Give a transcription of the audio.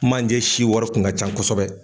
Kumajɛ si wari kun ka ca kosɛbɛ.